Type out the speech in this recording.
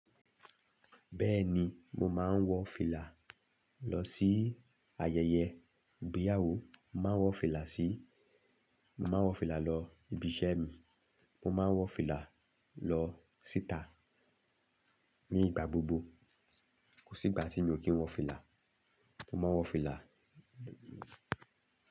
Bẹ́ẹ̀ni mo maa n wọfila lọ si ayẹyẹ ìgbéyàwó, mo maa n wọ fìlà lọ ibi iṣẹ mi, mo ma n wọ fìlà lọ si ita ni ìgbà gbogbo. Kò sí ìgbà tí mi ò kí ń wọ fìlà. Mo máa ń wọ fìlà.